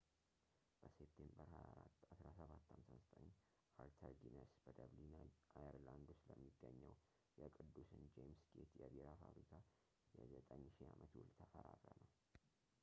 በሴፕቴምበር 24 1759 አርተር ጊነስ በደብሊን አየርላንድ ውስጥ ለሚገኘው የቅዱስን ጄምስ ጌት የቢራ ፋብሪካ የ9,000 አመት ውል ተፈራረመ